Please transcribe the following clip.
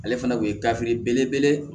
Ale fana kun ye gafe belebele ye